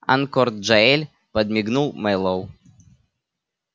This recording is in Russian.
анкор джаэль подмигнул мэллоу